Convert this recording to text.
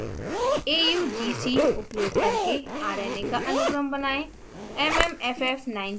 nucleic acids: augc उपयोग करके rna का अनुक्रम बनाएं